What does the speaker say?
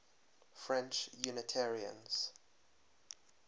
french unitarians